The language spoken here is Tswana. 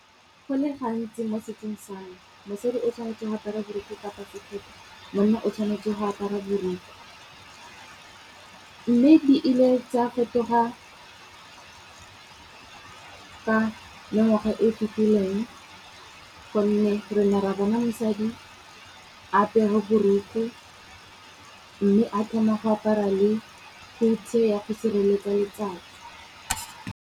Go le gantsi mo setsong same, mosadi o tshwanetse go apara borokgwe kapa sekete monna o tshwanetse go apara borokgwe. Mme di ile tsa fetoga ka mengwaga e fitileng, gonne re ne re bona mosadi apere borokgwe, mme a thoma go apara le go hutshe ya go sireletsa letsatsi.